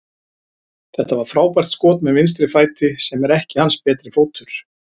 Þetta var frábært skot með vinstri fæti, sem er ekki hans betri fótur.